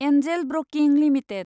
Angel Broking limited